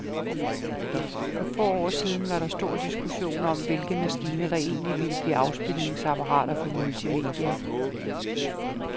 For få år siden var der stor diskussion om, hvilke maskiner, der egentlig ville blive afspilningsapparater for multimedia.